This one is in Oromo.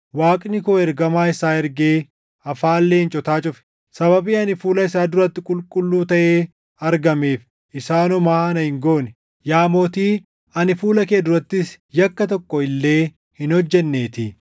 Waaqni koo ergamaa isaa ergee afaan leencotaa cufe. Sababii ani fuula isaa duratti qulqulluu taʼee argameef isaan homaa na hin goone. Yaa Mootii ani fuula kee durattis yakka tokko illee hin hojjenneetii.”